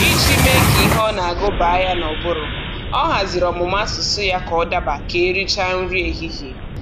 Iji mee ka ihe ọ na-agụ baa ya n'ụbụrụ, ọ haziri ọmụmụ asụsụ ya ka ọ daba ka e richara nri ehihie